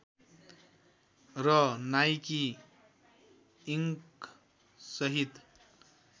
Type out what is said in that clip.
र Nike Inc सहित